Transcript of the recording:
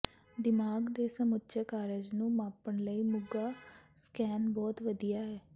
ਦਿਮਾਗ ਦੇ ਸਮੁੱਚੇ ਕਾਰਜ ਨੂੰ ਮਾਪਣ ਲਈ ਮੁਗਾ ਸਕੈਨ ਬਹੁਤ ਵਧੀਆ ਹੈ